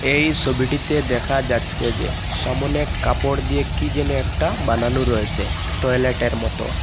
এই ছবিটিতে দেখা যাচ্ছে যে সামনে কাপড় দিয়ে কি যেন একটা বানানো রয়েছে টয়লেটের মত।